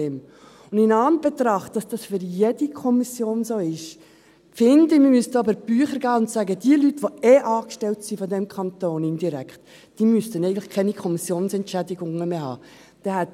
In Anbetracht dessen, dass dies bei jeder Kommission so ist, denke ich, dass wir über die Bücher gehen und sagen müssten, dass diejenigen Personen, die sowieso indirekt vom Kanton angestellt sind, eigentlich keine Kommissionsentschädigungen mehr erhalten sollten.